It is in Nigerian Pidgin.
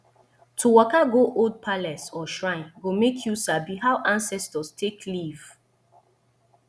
to waka go old palace or shrine go make you sabi how ancestors take live